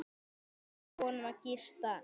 Leyfa honum að gista.